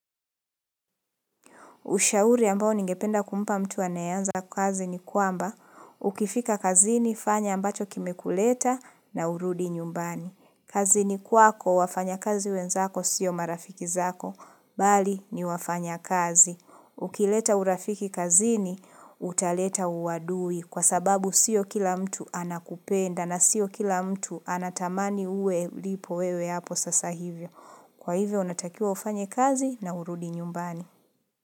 Ushauri ambao ningependa kumpa mtu anayeanza kazi ni kwamba, ukifika kazini fanya ambacho kimekuleta na urudi nyumbani. Kazini kwako, wafanyakazi wenzako sio marafiki zako bali ni wafanya kazi. Ukileta urafiki kazini, utaleta uadui kwa sababu sio kila mtu anakupenda na sio kila mtu anatamani uwe lipo wewe hapo sasa hivyo. Kwa hivyo, unatakiwa ufanye kazi na urudi nyumbani.